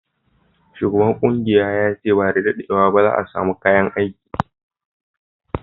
Shugaban kungiyan ya ce ba da daddewa ba za'a samu kayan aiki.